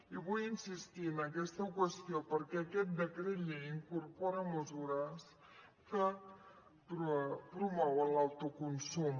i vull insistir en aquesta qüestió perquè aquest decret llei incorpora mesures que promouen l’autoconsum